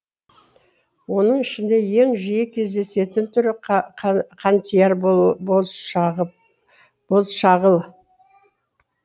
оның ішінде ең жиі кездесетін түрі қантияр бозшағыл